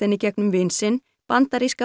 í gegnum vin sinn bandaríska